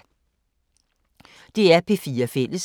DR P4 Fælles